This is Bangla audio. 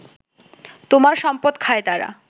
তোমার সম্পদ খায় তারা